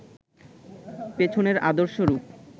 পেছনের আদর্শ রূপ